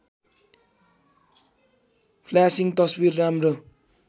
flashing तस्वीर राम्रो